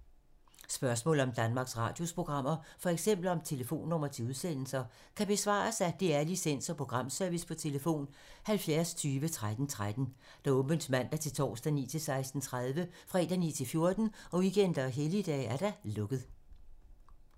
Spørgsmål om Danmarks Radios programmer, f.eks. om telefonnumre til udsendelser, kan besvares af DR Licens- og Programservice: tlf. 70 20 13 13, åbent mandag-torsdag 9.00-16.30, fredag 9.00-14.00, weekender og helligdage: lukket.